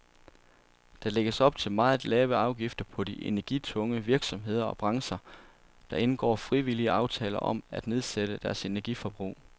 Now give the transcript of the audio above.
Der lægges op til meget lave afgifter for de energitunge virksomheder og brancher, der indgår frivillige aftaler om at nedsætte deres energiforbrug.